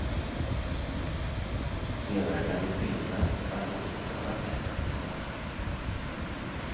Senare kan de tvingas att återbetala pengarna till staten.